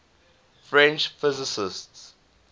french physicists